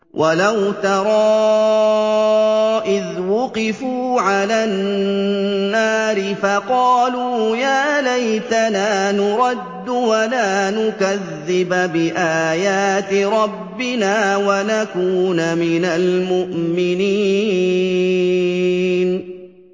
وَلَوْ تَرَىٰ إِذْ وُقِفُوا عَلَى النَّارِ فَقَالُوا يَا لَيْتَنَا نُرَدُّ وَلَا نُكَذِّبَ بِآيَاتِ رَبِّنَا وَنَكُونَ مِنَ الْمُؤْمِنِينَ